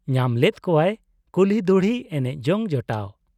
ᱧᱟᱢ ᱞᱮᱫ ᱠᱚᱣᱟᱭ ᱠᱩᱞᱦᱤ ᱫᱷᱩᱲᱤ ᱮᱱᱮᱡ ᱡᱚᱝ ᱡᱚᱴᱟᱣ ᱾